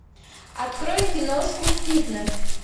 открой киношку фитнес